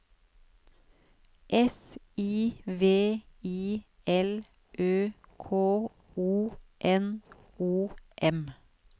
S I V I L Ø K O N O M